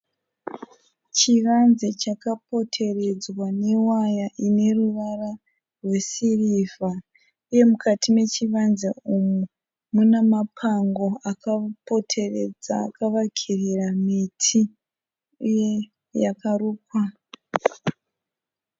Chivanze chakapoteredzwa newaya ine ruvara rwesirivha uye mukati mechivanze umu mune mapango akapoteredza akavakirira miti yakarukwa.